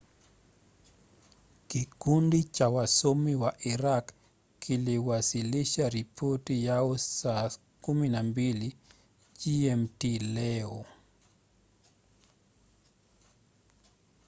kikundi cha wasomi wa iraq kiliwasilisha ripoti yao saa 12 gmt leo